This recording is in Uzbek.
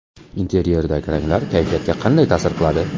Interyerdagi ranglar kayfiyatga qanday ta’sir qiladi?.